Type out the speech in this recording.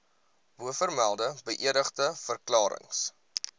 bovermelde beëdigde verklarings